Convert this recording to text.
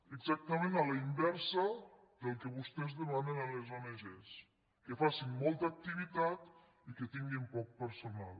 exactament a la inversa del que vostès demanen a les ong que facin molta activitat i que tinguin poc personal